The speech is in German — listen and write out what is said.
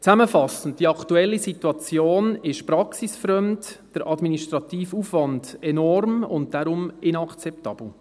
Zusammenfassend: Die Situation ist praxisfremd, der Administrativaufwand enorm und darum inakzeptabel.